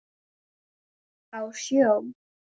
Á sjó?